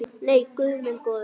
Nei, guð minn góður.